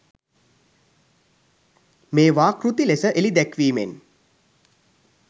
මේවා කෘති ලෙස එළි දැක්වීමෙන්